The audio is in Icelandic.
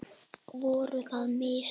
Voru það mistök?